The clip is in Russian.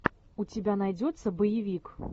у тебя найдется боевик